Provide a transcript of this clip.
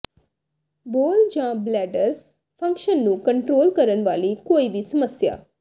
bowel ਜਾਂ bladder function ਨੂੰ control ਕਰਨ ਵਾਲੀ ਕੋਈ ਵੀ ਸਮੱਸਿਆ